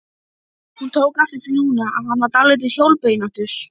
Hún er forsenda eðlilegrar afkastagetu, vinnu og félagslegra athafna.